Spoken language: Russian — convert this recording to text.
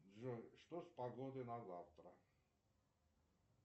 джой что с погодой на завтра